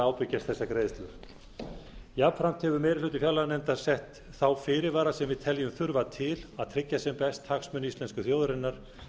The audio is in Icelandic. að ábyrgjast þessar greiðslur jafnframt hefur meiri hluti fjárlaganefndar sett þá fyrirvara sem við teljum þurfa til að tryggja sem best hagsmuni íslensku þjóðarinnar við